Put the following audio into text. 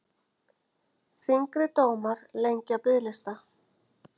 Þyngri dómar lengja biðlista